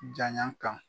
Janya kan